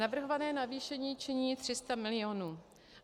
Navrhované navýšení činí 300 milionů.